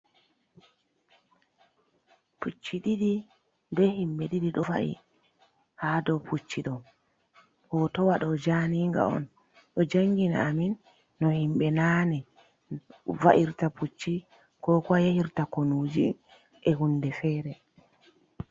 Pucci ɗiɗi be himɓe ɗiɗi ɗo va’i ha dow Pucci ɗo. Hootowaɗo jaaniga'on, ɗo jaangina amin no-himɓe naane va’irta Pucci.ko kuwa yaahirta Konuuji e huunde feere.